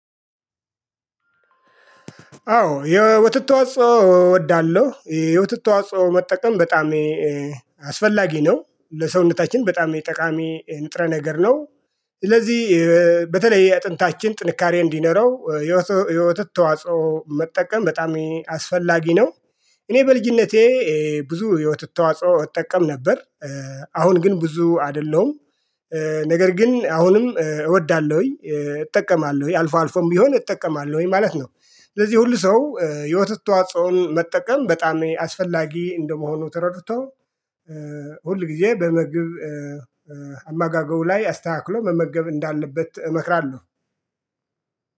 አዎ የወተት ተዋጽኦ እወዳለሁ የወተት ተዋጽኦ መጠቀም በጣም አስፈላጊ ነው ለሰውነታችን በጣም ጠቃሚ ንጥረ ነገር ነው። ስለዚህ በተለይ የአጥንታችን ጥንካሬ እንዲኖረው የወተት ተዋጽኦ መጠቀም በጣም አስፈላጊ ነው። እኔ በልጅነቴ ብዙ የወተት ተዋጽኦ እጠቀም ነበር። አሁን ግን ብዙ አይደለም ነገር ግን አሁንም እወዳለሁኝ እጠቀማለሁኝ አልፎ አልፎም ቢሆን እጠቀማለሁኝ ማለት ነው። ስለዚህ ሁሉ ሰው የወተት ተዋጽኦን መጠቀም በጣም አስፈላጊ እንደመሆኑ ተረድቶ ሁል ጊዜ በምግብ አመጋገቡ ላይ አስተካክሎ መመገብ እንዳለበት እመክራለሁ።